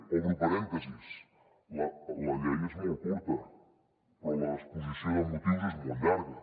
obro parèntesi la llei és molt curta però l’exposició de motius és molt llarga